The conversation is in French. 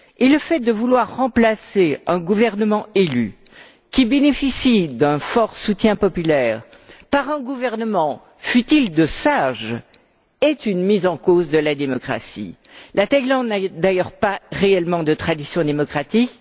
Le fait de vouloir remplacer un gouvernement élu, qui bénéficie d'un fort soutien populaire, par un gouvernement, fût il de sages, est une mise en cause de la démocratie. La Thaïlande n'a d'ailleurs pas réellement de tradition démocratique.